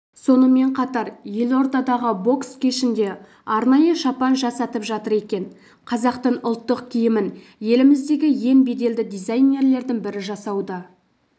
сонымен қатар елордадағы бокс кешінде арнайы шапан жасатып жатыр екен қазақтың ұлттық киімін еліміздегі ең беделді дизайнерлердің бірі жасауда